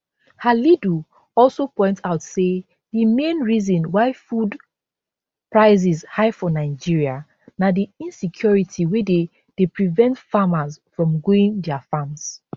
halidu also point out say di main reason why food prices high for nigeria na di insecurity wey dey dey prevent farmers from going dia farms